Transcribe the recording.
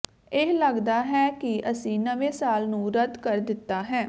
ਇਹ ਲਗਦਾ ਹੈ ਕਿ ਅਸੀਂ ਨਵੇਂ ਸਾਲ ਨੂੰ ਰੱਦ ਕਰ ਦਿੱਤਾ ਹੈ